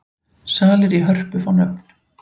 Salir í Hörpu fá nöfn